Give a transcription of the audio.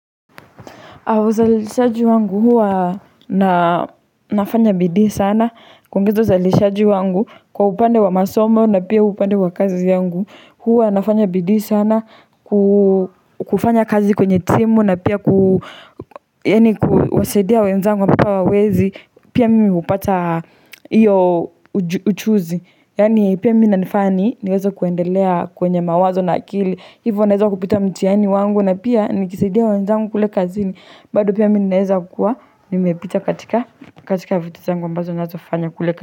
Uzalishaji wangu huwa na nafanya bidii sana kwa upande wa masomo na pia upande wa kazi yangu huwa nafanya bidii sana kufanya kazi kwenye timu na pia kuwasaidia wenzangu na pia waweze pia mimi hupata hiyo ujuzi. Yaani pia mimi inanifanya niweze kuendelea kwenye mawazo na akili hivyo naweza kupita mtihani wangu na pia nikisaidia wenzangu kule kazini bado pia mimi ninaweza kukua nimepita katika katika vitu zangu ambazo naweza fanya kule kazini.